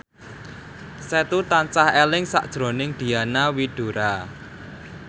Setu tansah eling sakjroning Diana Widoera